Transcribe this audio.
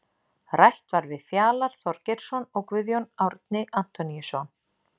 Rætt var við Fjalar Þorgeirsson og Guðjón Árni Antoníusson.